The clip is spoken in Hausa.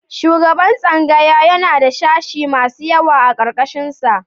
Shugaban tsangaya yana da sashi masu yawa a ƙarƙarshinsa.